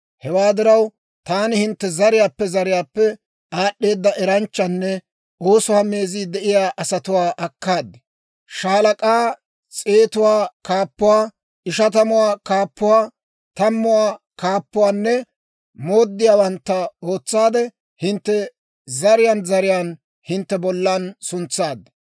Hewaa diraw, taani hintte zariyaappe zariyaappe aad'd'eeda eranchchanne oosuwaa meezii de'iyaa asatuwaa akkaad; shaalak'aa, s'eetuwaa kaappuwaa, ishatamuwaa kaappuwaa, tammuwaa kaappuwaanne mooddiyaawantta ootsaade hintte zariyaan zariyaan hintte bollan suntsaad.